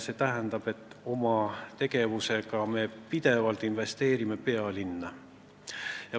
See tähendab, et me oma tegevusega investeerime pidevalt pealinna.